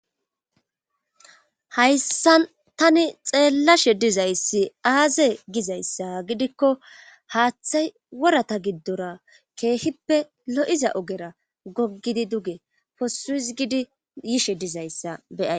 hayssa tani xeellashe dizayssi aaze gizayssa gidikko haaththay worata giddora keehippe lo7iza ogera goggidi duge posusgidi yishe dizayssa beyay